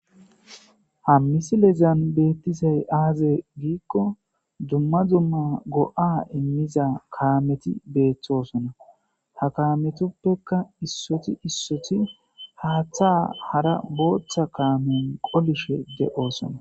Ha misilezzan betizzay azze gikko dumma dumma go77a imizzakammeti bettosona ha kametikka haatha botha kamen qolishe de77ossona.